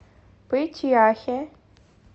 пыть яхе